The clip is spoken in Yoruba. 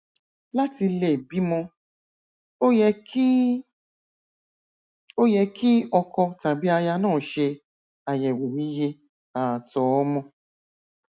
láti lè bímọ ó yẹ kí ó yẹ kí ọkọ tàbí aya náà ṣe àyẹwò iye ààtọ ọmọ